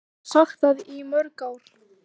Ég hef sagt það í mörg ár.